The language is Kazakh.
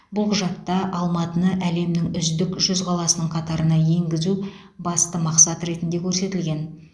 бұл құжатта алматыны әлемнің үздік жүз қаласының қатарына енгізу басты мақсат ретінде көрсетілген